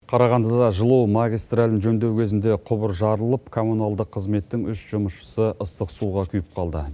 қарағандыда жылу магистралін жөндеу кезінде құбыр жарылып коммуналдық қызметтің үш жұмысшысы ыстық суға күйіп қалды